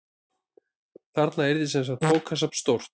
Þarna yrði semsagt bókasafn stórt.